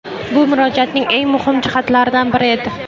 Bu Murojaatning eng muhim jihatlaridan biri edi.